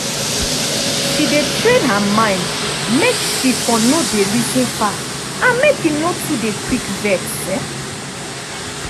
she dey train her mind make she for no dey reason far and make e for no dey quick vex.